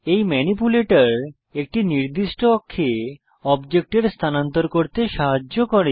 এই ম্যানিপ্যুলেটর একটি নির্দিষ্ট অক্ষে অবজেক্ট এর স্থানান্তর করতে সাহায্য করে